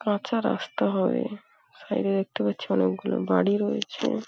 কাঁচা রাস্তা হয় সাইড -এ দেখতে পাচ্ছি অনেকগুলো বাড়ি রয়েছে।